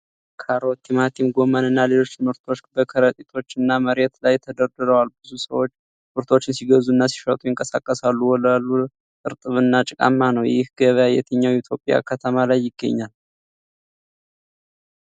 ካሮት፣ ቲማቲም፣ ጎመን እና ሌሎች ምርቶች በከረጢቶች እና መሬት ላይ ተደርድረዋል። ብዙ ሰዎች ምርቶችን ሲገዙና ሲሸጡ ይንቀሳቀሳሉ። ወለሉ እርጥብና ጭቃማ ነው። ይህ ገበያ የትኛው የኢትዮጵያ ከተማ ላይ ይገኛል?